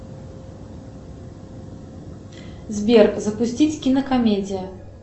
сбер запустить кинокомедия